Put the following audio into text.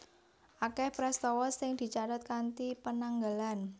Akèh prastawa sing dicathet kanthi penanggalan